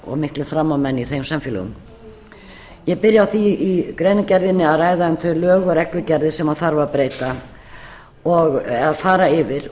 og miklir frammámenn í þeim samfélögum ég byrja á því í greinargerðinni að ræða um þau lög og reglugerðir sem þarf að breyta eða fara yfir